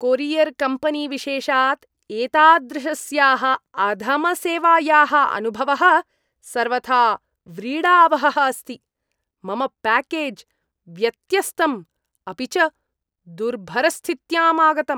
Courier कम्पेनीविशेषात् एतादृशस्याः अधमसेवायाः अनुभवः सर्वथा व्रीडावहः अस्ति, मम प्याकेज् व्यत्यस्तं, अपि च दुर्भरस्थित्यां आगतम्।